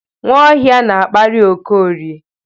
Nwaohia na-akparị Okorie.